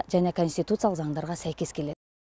және конституциялық заңдарға сәйкес келеді